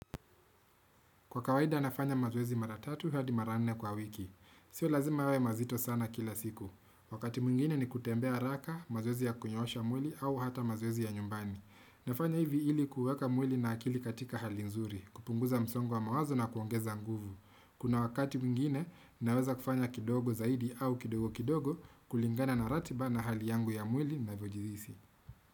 Kwa kawaida nafanya mazoezi mara tatu hadi mara nne kwa wiki. Sio lazima yawe mazito sana kila siku. Wakati mungine ni kutembea raka mazuwezi ya kunyoosha mwili au hata mazoezi ya nyumbani. Nafanya hivi ili kuweka mwili na akili katika hali nzuri, kupunguza msongo wa mawazo na kuongeza nguvu. Kuna wakati mwingine naweza kufanya kidogo zaidi au kidogo kidogo kulingana na ratiba na hali yangu ya mwili navyojihisi.